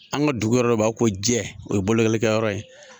An ka dugu yɔrɔ dɔ bɛ yen b'a fɔ ko jɛ, o ye bolokolikɛyɔrɔ ye.